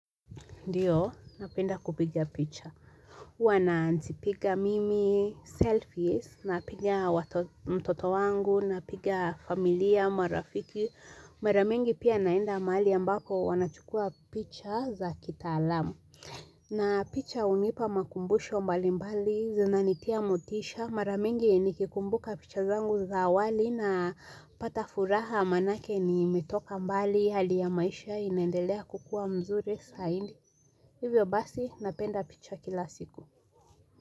Ndio, napenda kupiga picha. huWa najipiga mimi, selfies, napiga mtoto wangu, napiga familia, marafiki. Mara mingi pia naenda mahali ambako wanachukua picha za kitaalamu. Na picha hunipa makumbusho mbali mbali, zinanitia motisha. Mara mingi nikikumbuka picha zangu za awali napata furaha manake nilitoka mbali, hali ya maisha inendelea kukua mzuri zaidi. Hivyo basi napenda picha kila siku.